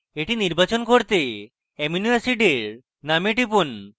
এটি নির্বাচন করতে অ্যামিনো অ্যাসিডের name টিপুন